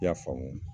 I y'a faamu